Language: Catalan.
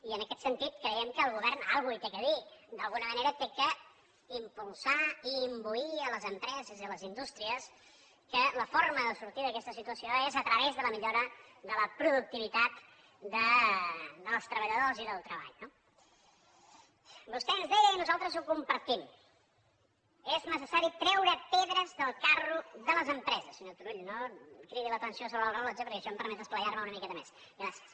i en aquest sentit creiem que el govern alguna cosa hi té a dir d’alguna manera ha d’impulsar i imbuir les empreses i les indústries que la forma de sortir d’aquesta situació és a través de la millora de la productivitat dels treballadors i del treball no vostè ens deia i nosaltres ho compartim és necessari treure pedres del carro de les empreses senyor turull no cridi l’atenció sobre el rellotge perquè això em permet esplaiar me una miqueta més gràcies